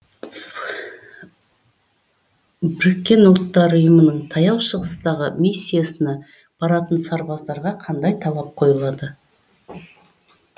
біріккен ұлттар ұйымының таяу шығыстағы миссиясына баратын сарбаздарға қандай талап қойылады